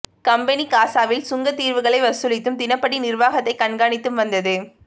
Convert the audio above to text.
company காசாவில் சுங்கத் தீர்வைகளை வசூலித்தும் தினப்படி நிர்வாகத்தையும் கண்காணித்து வந்தது